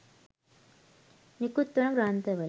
නිකුත් වන ග්‍රන්ථවල